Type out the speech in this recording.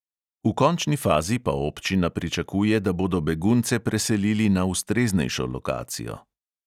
V končni fazi pa občina pričakuje, da bodo begunce preselili na ustreznejšo lokacijo.